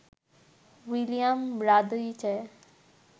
William Radice